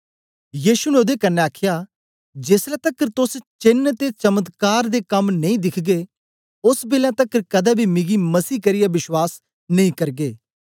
यीशु ने ओदे कन्ने आखया जेसलै तकर तोस चेन्न ते चमत्कार कम्म नेई दिखगे ओस बेलै तकर कदें बी मिगी मसीह करियै बश्वास नेई करगे